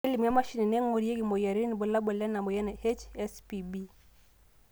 kelimu emashini naingurarieki imoyiaritin irbulabol lena moyian e HSPB